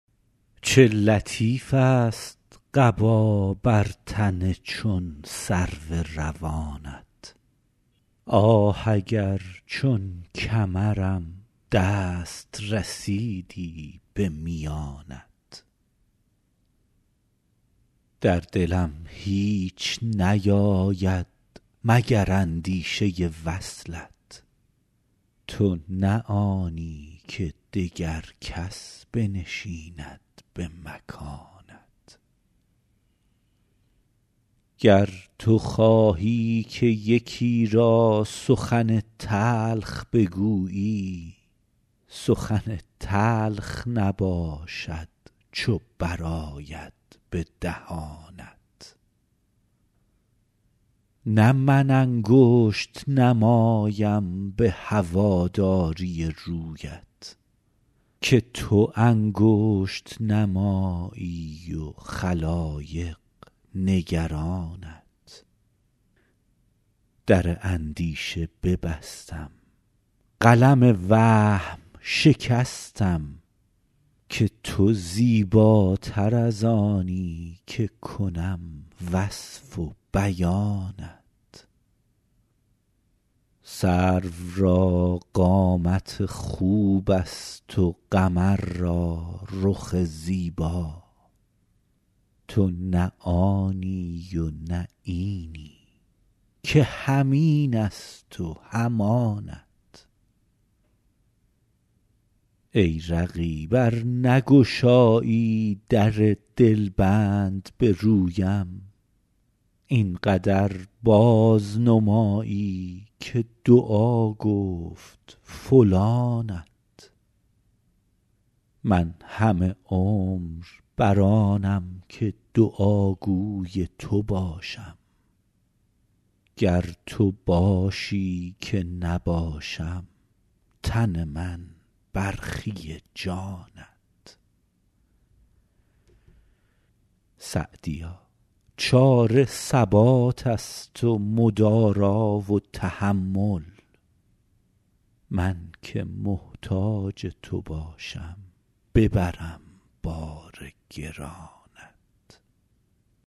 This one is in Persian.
چه لطیفست قبا بر تن چون سرو روانت آه اگر چون کمرم دست رسیدی به میانت در دلم هیچ نیاید مگر اندیشه وصلت تو نه آنی که دگر کس بنشیند به مکانت گر تو خواهی که یکی را سخن تلخ بگویی سخن تلخ نباشد چو برآید به دهانت نه من انگشت نمایم به هواداری رویت که تو انگشت نمایی و خلایق نگرانت در اندیشه ببستم قلم وهم شکستم که تو زیباتر از آنی که کنم وصف و بیانت سرو را قامت خوبست و قمر را رخ زیبا تو نه آنی و نه اینی که هم اینست و هم آنت ای رقیب ار نگشایی در دلبند به رویم این قدر بازنمایی که دعا گفت فلانت من همه عمر بر آنم که دعاگوی تو باشم گر تو خواهی که نباشم تن من برخی جانت سعدیا چاره ثباتست و مدارا و تحمل من که محتاج تو باشم ببرم بار گرانت